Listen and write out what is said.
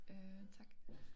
Øh tak